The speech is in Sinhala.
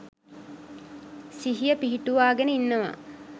සිහිය පිහිටුවාගෙන ඉන්නවා.